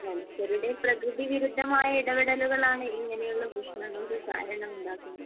മനുഷ്യരുടെ പ്രകൃതിവിരുദ്ധമായ ഇടപെടലുകളാണ് ഇങ്ങനെയുള്ള പ്രശ്നങ്ങൾക്ക് കാരണം ഉണ്ടാക്കുന്നത്.